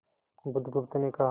बुधगुप्त ने कहा